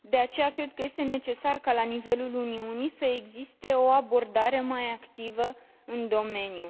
De aceea, cred că este necesar ca la nivelul Uniunii să existe o abordare mai activă în domeniu.